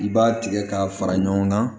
I b'a tigɛ k'a fara ɲɔgɔn kan